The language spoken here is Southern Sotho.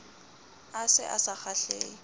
a se a sa kgahlehe